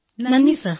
നന്ദി സർ